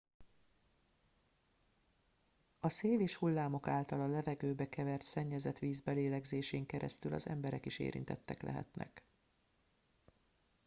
a szél és hullámok által a levegőbe kevert szennyezett víz belégzésén keresztül az emberek is érintettek lehetnek